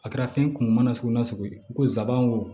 A kɛra fɛn kun ma na sugu nasugu ye i ko zan wo